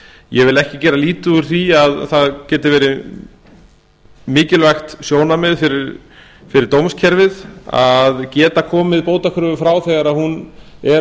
ég vil ekki gera lítið úr því að það geti verið mikilvægt sjónarmið fyrir dómskerfið að geta komið bótakröfu frá þegar hún er